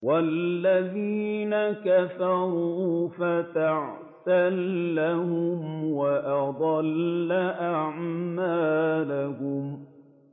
وَالَّذِينَ كَفَرُوا فَتَعْسًا لَّهُمْ وَأَضَلَّ أَعْمَالَهُمْ